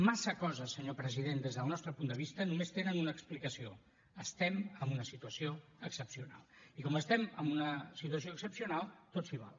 massa coses senyor president des del nostre punt de vista només tenen una explicació estem en una situació excepcional i com que estem en una situació excepcional tot s’hi val